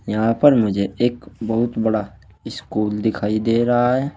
यहां पर मुझे एक बहुत बड़ा स्कूल दिखाई दे रहा है।